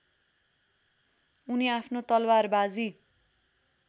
उनी आफ्नो तलवारबाजी